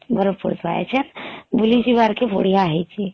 ବରଫ ପଡୁଥିବା ଏଛେଁ ବୁଲି ଯିବାର କେ ବଢିଆ ହେଇଛି